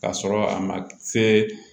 K'a sɔrɔ a ma se